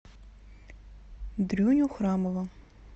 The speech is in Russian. дрюню храмова